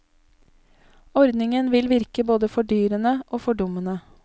Ordningen vil virke både fordyrende og fordummende.